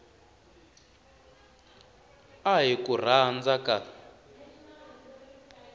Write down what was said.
a hi ku rhandza ka